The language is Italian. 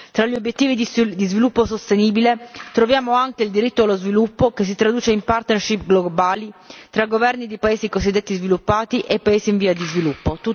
Tra gli obiettivi di sviluppo sostenibile, troviamo anche il diritto allo sviluppo, che si traduce in parte in obiettivi globali tra governi dei paesi cosiddetti sviluppati e paesi invia di sviluppo.